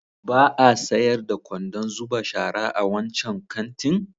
Ba a sayar da kwandon zuba shara a wancan kantin?